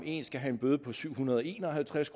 ene skal have en bøde på syv hundrede og en og halvtreds